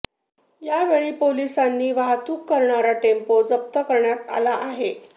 यावेळी पोलीसांनी वाहतूक करणारा टेम्पो जप्त करण्यात आला आहे